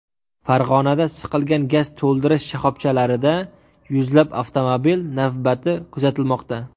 Farg‘onada siqilgan gaz to‘ldirish shoxobchalarida yuzlab avtomobil navbati kuzatilmoqda .